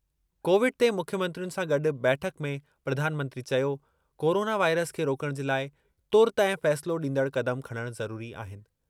Covid ते मुख्यमंत्रियुनि सां गॾु बैठक में प्रधानमंत्री चयो, कोरोना वाइरस खे रोकण जे लाइ तुर्तु ऐं फ़ैसिलो ॾींदड़ क़दम खणणु ज़रूरी आहिनि।